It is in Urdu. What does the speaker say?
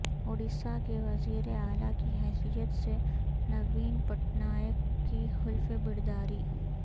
اڑیسہ کے وزیر اعلی کی حیثیت سے نوین پٹنائک کی حلف برداری